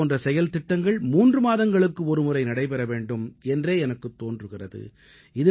இது போன்ற செயல்திட்டங்கள் மூன்று மாதங்களுக்கு ஒருமுறை நடைபெற வேண்டும் என்றே எனக்குத் தோன்றுகிறது